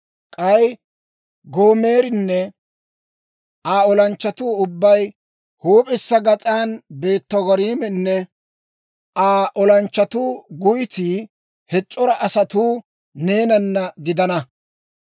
K'ay Goomerinne Aa olanchchatuu ubbay, huup'issa gas'an Beeti-Togarmminne Aa olanchchatuu guyttii, he c'ora asatuu neenana gidana.